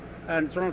en